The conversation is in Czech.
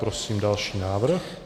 Prosím další návrh.